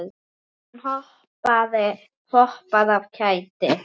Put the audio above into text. Hún hoppar af kæti.